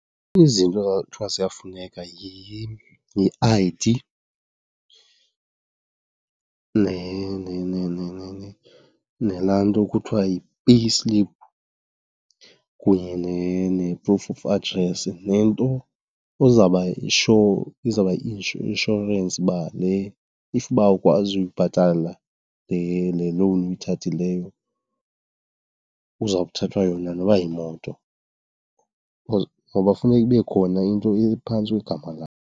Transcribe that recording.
Izinto ekwakuthiwa ziyafuneka yi-I_D nalaa nto kuthiwa yi-payslip kunye ne-proof of address nento ozawuba yi-sure, izawuba yi-inshorensi uba le, if uba awukwazi uyibhatala le loan uyithathileyo kuzawuthathwa yona noba yimoto. Because, ngoba kufuneka ibe khona into ephantsi kwegama lakho.